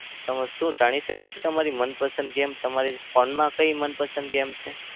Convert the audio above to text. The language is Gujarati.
તમે શું જાણી શકું છુ તમારી મનપસંદ game તમારી phone માં કઈ મનપસંદ game છે?